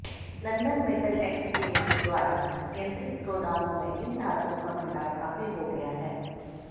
London Metal Exchange द्वारा नियंत्रित गोदामों में इन धातुओं का भंडार काफी हो गया है